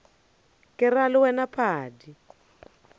ke ra le wena padi